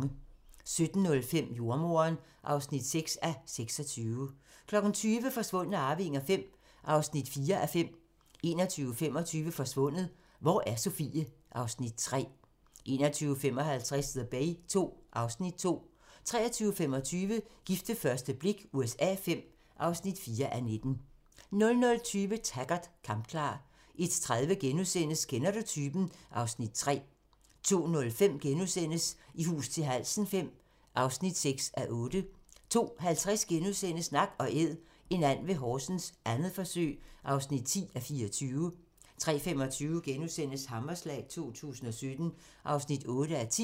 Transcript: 17:05: Jordemoderen (6:26) 20:00: Forsvundne arvinger V (4:5) 21:25: Forsvundet – hvor er Sofie? (Afs. 3) 21:55: The Bay II (Afs. 2) 23:25: Gift ved første blik USA V (4:19) 00:20: Taggart: Kampklar 01:30: Kender du typen? (Afs. 3)* 02:05: I hus til halsen V (6:8)* 02:50: Nak & Æd – en and ved Horsens, 2. forsøg (10:24)* 03:25: Hammerslag 2017 (8:10)*